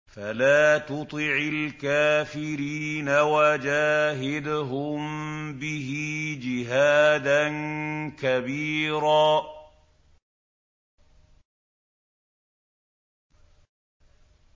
فَلَا تُطِعِ الْكَافِرِينَ وَجَاهِدْهُم بِهِ جِهَادًا كَبِيرًا